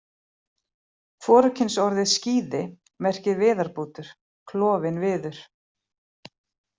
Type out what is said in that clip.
Hvorugkynsorðið skíði merkir viðarbútur, klofinn viður.